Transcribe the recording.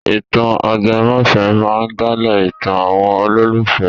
Ìtàn ajẹmọ́fẹ̀ẹ́ máa ń dálé ìtàn àwọn olólùfẹ́.